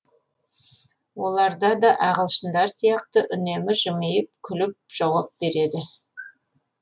оларда да ағылшындар сияқты үнемі жымиып күліп жауап береді